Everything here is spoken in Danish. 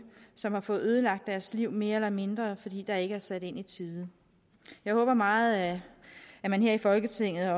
som har fået ødelagt deres liv mere eller mindre fordi der ikke er sat ind i tide jeg håber meget at man her i folketinget